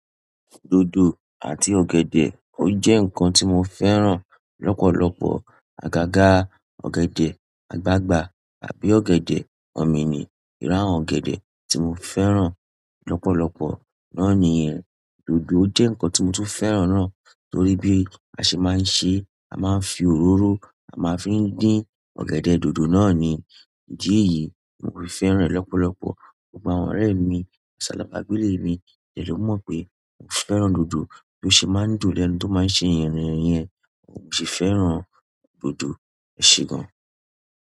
Dodo àti ọ̀gẹ̀dẹ̀ ọ jẹ́ nǹkan tí mo fẹ́ràn lọ́pọ̀lọpọ̀. Agaga ọ̀gẹ̀dẹ̀ àgbagbà àbí ọ̀gẹ̀dẹ̀ omi ni irú ọ̀gẹ̀dẹ̀ tí mo fẹ́ràn lọ́pọ̀lọpọ̀. Náà ni yen dodo jẹ́ ǹkan tí mo tún fẹ́ràn náà torí bí a ṣe máa ń ṣe, a máa ń fi òróró a máa ń fi dín ọ̀gẹ̀dẹ̀ dodo náà ni. Idi èyí ni mo fi fẹ́ràn ẹ́ lọ́pọ̀lọpọ̀ gbogbo àwọn ọ̀rẹ́ mi, àti alaba gbélé mi dẹ mọ̀ pé mò fẹ́ràn dodo tó ṣe máa ń dùn lẹ́nu tó máa ń ṣe yẹ̀rín yẹn. Mo ṣi fẹ́ràn dodo ẹ ṣe gan.